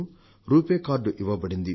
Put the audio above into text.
RuPay card ఇవ్వబడింది